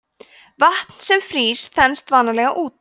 vatn sem frýs þenst vanalega út